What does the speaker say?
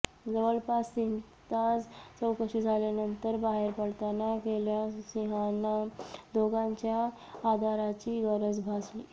जवळपास तीन तास चौकशी झाल्यानंतर बाहेर पडताना कल्याणसिंहांना दोघांच्या आधाराची गरज भासली